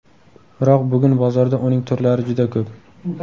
Biroq bugun bozorda uning turlari juda ko‘p.